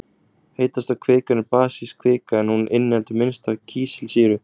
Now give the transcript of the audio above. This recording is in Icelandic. heitasta kvikan er basísk kvika en hún inniheldur minnst af kísilsýru